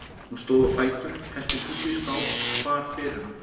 Hún stóð á fætur, hellti súpu í skál og bar fyrir hann.